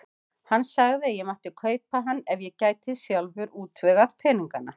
Hann sagði að ég mætti kaupa hann ef ég gæti sjálfur útvegað peningana.